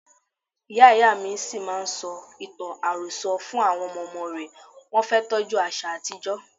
Ìyá Ìyámi ṣì máa ń sọ ìtàn àròsọ fún àwọn ọmọ ọmọ rẹ̀, wọn fẹ́ tọ́jú àṣà àtijó.